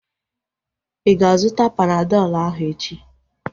Ịga azụta Panadọl ahu echi?